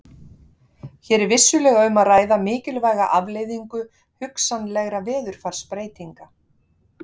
Hér er vissulega um að ræða mikilvæga afleiðingu hugsanlegra veðurfarsbreytinga.